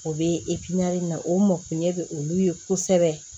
O bɛ na o mɔkunɲɛ bɛ olu ye kosɛbɛ